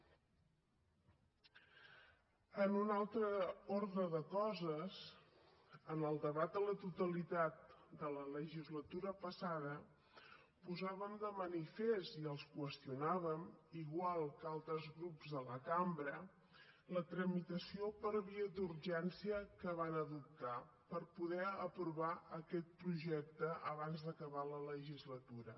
en un altre ordre de coses en el debat a la totalitat de la legislatura passada posàvem de manifest i els qüestionàvem igual que altres grups de la cambra la tramitació per via d’urgència que van adoptar per poder aprovar aquest projecte abans d’acabar la legislatura